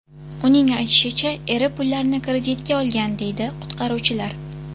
Uning aytishicha, eri pullarni kreditga olgan”, deydi qutqaruvchilar.